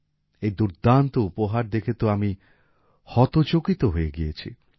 এই দুর্দান্ত উপহার দেখে তো আমি হতচকিত হয়ে গিয়েছি